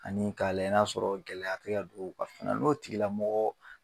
Ani k'a layɛ n'a sɔrɔ gɛlɛya te ka don ka fana n'o tigilamɔgɔ